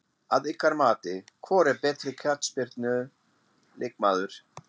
Að ykkar mati, hvor er betri knattspyrnu leikmaður?